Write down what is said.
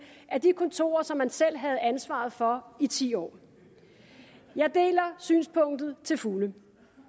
af de kontorer som man selv havde ansvaret for i ti år jeg deler synspunktet til fulde